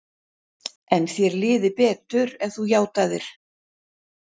En þér liði betur ef þú játaðir.